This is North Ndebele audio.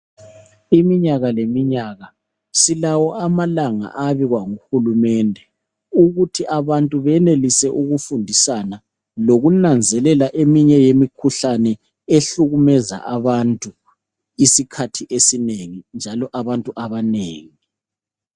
Iminyaka leminyaka silawo amalanga abekwa nguhulumede. Ukuthi abantu benelise ukufundisana lokunanzelele eminye imikhuhlane ehlukumeza abantu esikhathini esinengi njalo abantu abanengi.